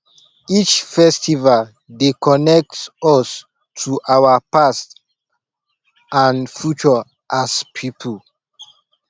each festival dey connect us to our past and future as a pipo